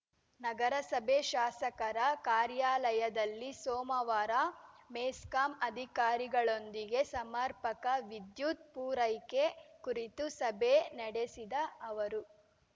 ನಗರಸಭೆ ಶಾಸಕರ ಕಾರ್ಯಾಲಯದಲ್ಲಿ ಸೋಮವಾರ ಮೆಸ್ಕಾಂ ಅಧಿಕಾರಿಗಳೊಂದಿಗೆ ಸಮರ್ಪಕ ವಿದ್ಯುತ್‌ ಪೂರೈಕೆ ಕುರಿತು ಸಭೆ ನಡೆಸಿದ ಅವರು